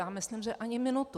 Já myslím, že ani minutu.